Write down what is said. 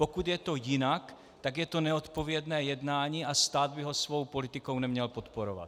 Pokud je to jinak, tak je to neodpovědné jednání a stát by ho svou politikou neměl podporovat.